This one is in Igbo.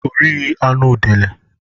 Ọ righi anụ udele